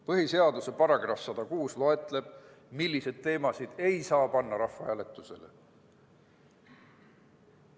Põhiseaduse § 106 loetleb, milliseid teemasid ei saa panna rahvahääletusele.